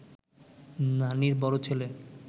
নানির বড় ছেলে